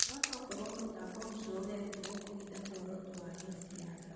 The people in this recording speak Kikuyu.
No tokorwo mũtambo ũcio ũrekĩrirwo kũhitha mũoroto wa gĩsiasa